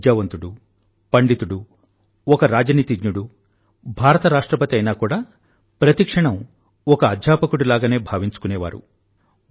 ఒక విద్యావంతుడు పండితుడు ఒక రాజనీతిజ్ఞుడు భారతదేశ రాష్ట్రపతి అయినా కూడా ప్రతి క్షణం ఒక అధ్యాపకుడిలానే భావించుకునేవారు